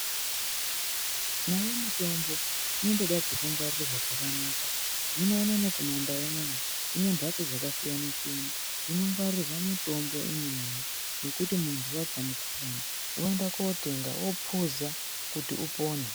Nayo mitombo inotodawo pekungwarirwa pakanaka .Hino unono kumumandau unono tinadzo mhatso dzakasiyana -siyana dzekungwarire mutombo dzekuti kana muntu warwara woenda kunotenga wophuza kuti upone